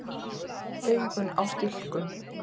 Augun á stilkum.